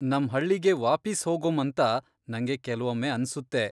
ನಮ್ ಹಳ್ಳಿಗೆ ವಾಪೀಸ್ ಹೋಗೊಂ ಅಂತ ನಂಗೆ ಕೆಲ್ವೊಮ್ಮೆ ಅನ್ಸುತ್ತೆ.